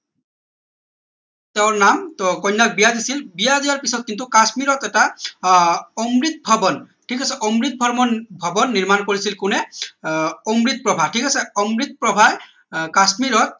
তেওঁৰ নাম টৌ কন্যাক বিয়া দিছিল বিয়া দিয়াৰ পিছত কিন্তু কাশ্মীৰত এটা আহ অমৃত ভৱন ঠিক আছে অমৃত ভৱন ভৱন নিৰ্মাণ কৰিছিল কোনে আহ অমৃতপ্ৰভা ঠিক আছে অমৃতপ্ৰভা আহ কাশ্মীৰত